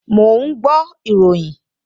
Mò ń gbọ́ ìròyìn